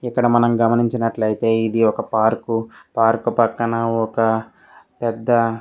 ఇక్కడ మనం గమనించినట్లైతే ఇది ఒక పార్క్ . పార్క్ పక్కన ఒక పెద్ద --